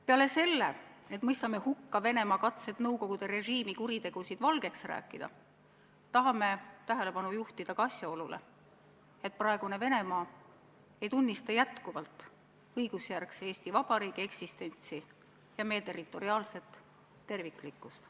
Peale selle, et mõistame hukka Venemaa katsed Nõukogude režiimi kuritegusid valgeks rääkida, tahame tähelepanu juhtida ka asjaolule, et praegune Venemaa ei tunnista jätkuvalt õigusjärgse Eesti Vabariigi eksistentsi ja meie territoriaalset terviklikkust.